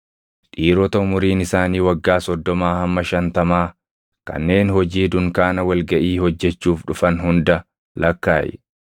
Dhiirota umuriin isaanii waggaa soddomaa hamma shantamaa kanneen hojii dunkaana wal gaʼii hojjechuuf dhufan hunda lakkaaʼi.